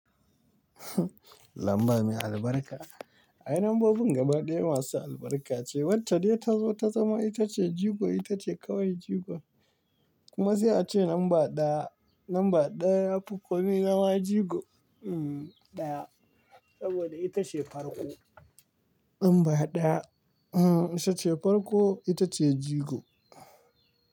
Lamba mai albarka. Ai lambobin gaba ɗaya masu albarka ce, wacce dai ta zo ta zama ita ce jigo, ita ce kawai jigo. Kuma sai a ce lamba ɗaya, lamba ɗaya ya fi komi zama jigo. Ɗaya, saboda ita ce farko. Lamba ɗaya, hm, ita ce farko, ita ce jigo.